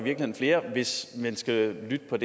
flere hvis man skal lytte